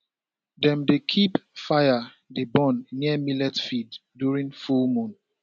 dem dey keep fire dey burn near millet fields during full moon